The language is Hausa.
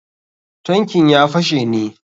Tankin ya fashe ne.